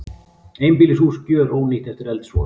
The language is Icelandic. Einbýlishús gjörónýtt eftir eldsvoða